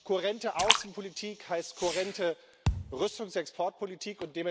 Kohärente Außenpolitik heißt kohärente Rüstungsexportpolitik.